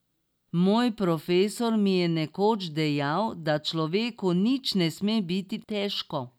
Moj profesor mi je nekoč dejal, da človeku nič ne sme biti težko.